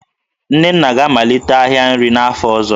Nnenna ga-amalite ahịa nri n'afọ ọzọ